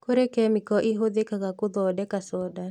Kũrĩ kemiko ihũthĩkaga gũthondeka thonda